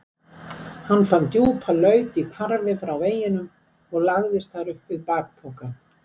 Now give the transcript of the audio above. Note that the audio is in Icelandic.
Hann fann djúpa laut í hvarfi frá veginum og lagðist þar upp við bakpokann.